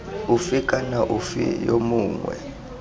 ofe kana ofe yo mongwe